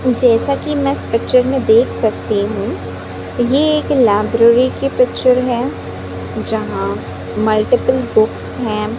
जैसा कि मैं इस पिक्चर में देख सकती हूं ये एक लाइब्रेरी की पिक्चर है जहां मल्टीपल बुक्स हैं।